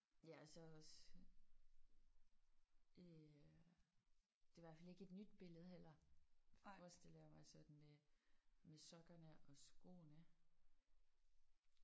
Ja og så også øh det er i hvert fald ikke et nyt billede heller forestiller jeg mig sådan med med sokkerne og skoene